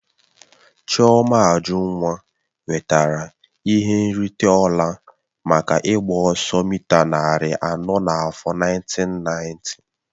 Chioma Ajunwa nwetara ihe nrite ọla maka ịgba ọsọ mịta narị anọ n'afọ nineteen ninety.